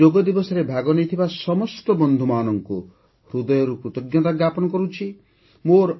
ମୁଁ ଯୋଗ ଦିବସରେ ଭାଗ ନେଇଥିବା ସମସ୍ତ ବନ୍ଧୁମାନଙ୍କୁ ହୃଦୟରୁ କୃତଜ୍ଞତା ଜ୍ଞାପନ କରୁଛି